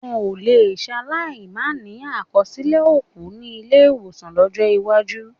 Wọn ò lè ṣaláì máa ní àkọsílẹ̀ òkú ní ilé-ìwọ̀sàn lọ́jọ́ iwájú.